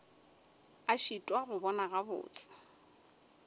a šitwa go bona gabotse